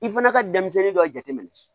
I fana ka denmisɛnnin dɔ jateminɛ